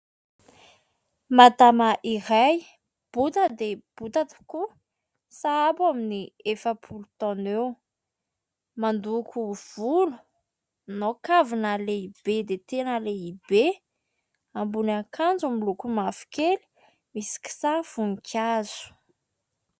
Madama iray bota dia bota tokoa sahabo amin'ny efapolo taona eo. Mandoko volo, manao kavina lehibe dia tena lehibe, ambony akanjo miloko mavokely misy kisary voninkazo.